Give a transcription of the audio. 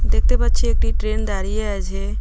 দেখতে পাচ্ছি একটি ট্রেন দাঁড়িয়ে আছে .